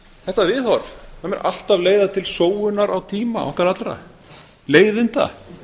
þetta viðhorf mun alltaf leiða til sóunar á tíma okkar allra leiðinda